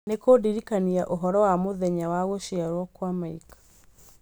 nĩ kũndirikania ũhoro wa mũthenya wa gũciarwo kwa Mike